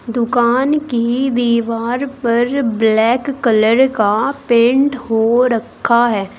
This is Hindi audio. दुकान की दीवार पर ब्लैक कलर का पेंट हो रखा है।